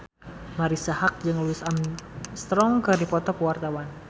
Marisa Haque jeung Louis Armstrong keur dipoto ku wartawan